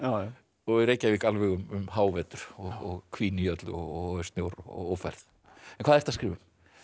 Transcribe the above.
og í Reykjavík alveg um hávetur og hvín í öllu og er snjór og ófærð en hvað ertu að skrifa um